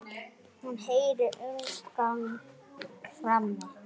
Hún heyrir umgang frammi.